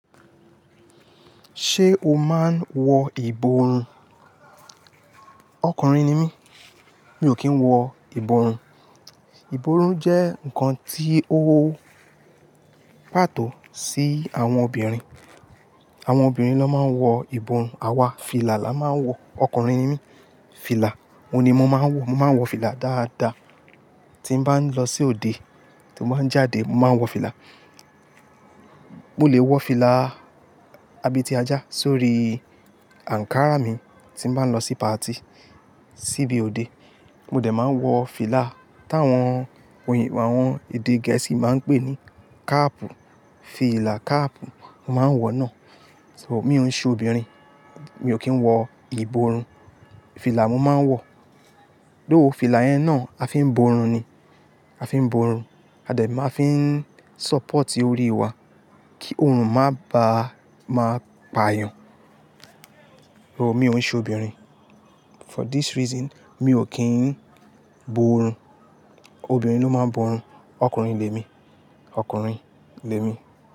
Ṣé o máa ń wọ ìborùn? Ọkùnrin ni mí, mi ò kí ń wọ ìborùn. Ìborùn jẹ́ nǹkan tí ó ń pàtó sí àwọn obìnrin. Àwọn obìnrin ló máa ń wọ ìborùn, àwa fìlà la máa ń wọ, ọkùnrin ni mí, fìlà mo ni mo máa ń wọ. Mo máa ń wọ fìlà dáadáa. Tí mo bá ń lọ sí òde, tí mo bá ń jáde, mo máa ń wọ fìlà. Mo lè wọ fìlà abeti ajá sórí ankara mi tí mo bá ń lọ sí party síbí òde. Mo dẹ̀ máa wọ fìlà táwọn oyin, àwọn èdè gẹ̀ẹ́sì máa ń pè ní cap, fìlà cap, mo máa ń wọ náà. So, mi ò ń ṣe obìnrin, mi ò kí ń wọ ìborùn. Fìlà mo máa ń wọ. Though fìlà yẹn náà a fi ń borùn ni, a fi ń borùn. A dẹ̀ ma fi ń sọpọ́ọ̀tì orí wa kí òrùn má bàa máa payàn. Rárá, mi ò ń ṣe obìnrin. For this reason, mi ò kí ń borùn. Obìnrin ló máa ń borùn, ọkùnrin lè mi, ọkùnrin lè mi.